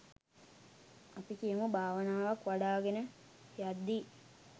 අපි කියමු භාවනාවක් වඩාගෙන යද්දී